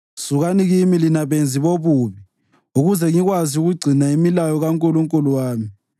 Sukani kimi lina benzi bobubi, ukuze ngikwazi ukugcina imilayo kaNkulunkulu wami!